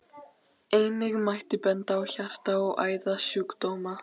Einnig mætti benda á hjarta- og æðasjúkdóma.